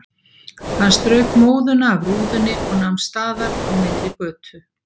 Hann strauk móðuna af rúðunni og nam staðar á miðri götu.